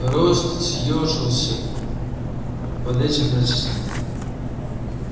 рост съёжился под этим натиском